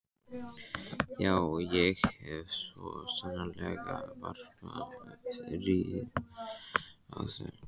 Já, ég hef svo sannarlega varpað rýrð á þau.